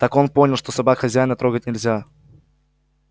так он понял что собак хозяина трогать нельзя